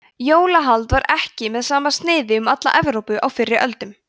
jólahald var ekki með sama sniði um alla evrópu á fyrri öldum